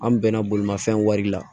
An bɛnna bolimafɛn wari la